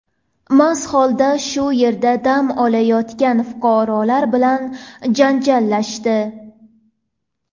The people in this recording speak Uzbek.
mast holda shu yerda dam olayotgan fuqarolar bilan janjallashdi.